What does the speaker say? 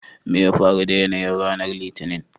me ya faru da yanayin ranar Litinin?